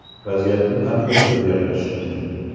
Vaziyatni qanday o‘zgartirish mumkin?